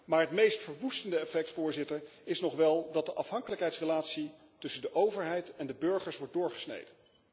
Maar het meest verwoestende effect, Voorzitter, is nog wel dat de afhankelijkheidsrelatie tussen de overheid en de burgers wordt doorgesneden.